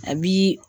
A bi